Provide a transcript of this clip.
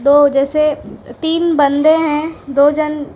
वो जैसे तीन बंदे हैं जो जन--